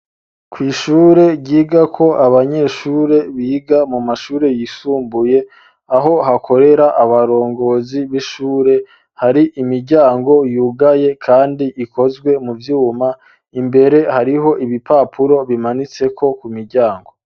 Kw'ishure ryiga ko abanyeshure biga mu mashure yisumbuye aho hakorera abarongozi b'ishure hari imiryango yugaye, kandi ikozwe mu vyuma imbere hariho ibipapuro bimanitseko ku miryango.